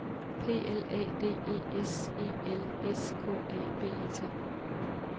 P L A D E S E L S K A B E T